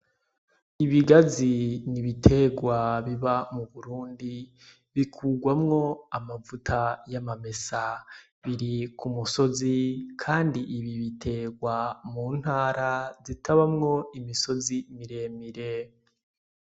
Ibigazi ni ibitegwa biba mu Burundi bikurwamwo amavuta y'amamesa, biri ku musozi kandi bitegwa mu ntara zitabawo imisozi miremire.